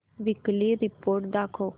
weekly report दाखव